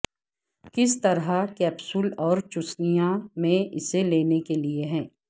کس طرح کیپسول اور چوسنیاں میں اسے لینے کے لئے ہے